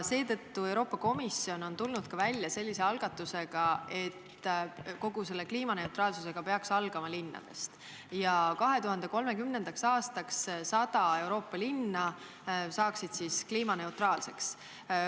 Seetõttu on Euroopa Komisjon välja tulnud algatusega, et kogu selle kliimaneutraalsusega peaks alustama linnadest ja 2030. aastaks saavutaks 100 Euroopa linna kliimaneutraalsuse.